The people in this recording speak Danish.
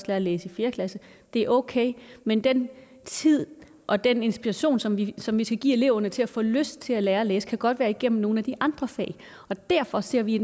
at læse i fjerde klasse det er okay men den tid og den inspiration som vi som vi skal give eleverne til at få lyst til at lære at læse kan godt være igennem nogle af de andre fag og derfor ser vi